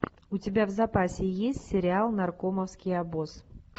у тебя в запасе есть сериал наркомовский обоз